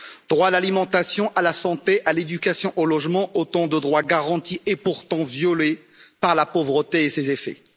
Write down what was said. Droit à l'alimentation, à la santé, à l'éducation, au logement, autant de droits garantis et pourtant violés par la pauvreté et ses effets.